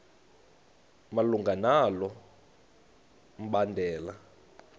malunga nalo mbandela